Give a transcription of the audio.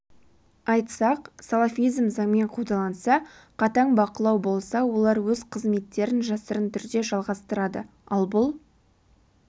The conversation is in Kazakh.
айтсақ салафизм занмен қудаланса қатаң бақылау болса олар өз қызметтерін жасырын түрде жалғастырады ал бұл